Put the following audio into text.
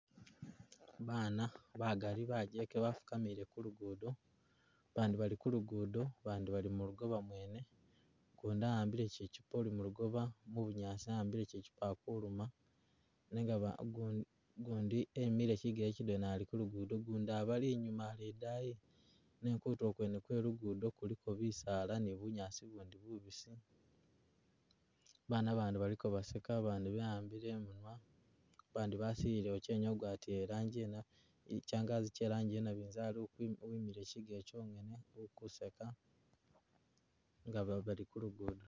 Baana bagali bajjeke bafukamile kulugudo, bandi bali kulugudo, bandi bali mulugoba mwene, ugundi a'ambile kyikyipoli mulugoba mubunyaasi a'ambile kyikyuupa akuluma nenga ba ugu ugundi emile kyigele kyidwena ali kulugudo ugundi abali inyuma ali idayi, ne kutulo kwene kwe lugudo kuliko bisaala ne bunyaasi bundi bubisi, baana abandi bali ko baseka, abandi ba'ambile emunwa, abandi basilile wokye niyo ogwatile elanji yino itsyangazi kye lanji ye nabinzali ukwi uwimile kyigele kyenyene ukuseka nga ba bali kulugudo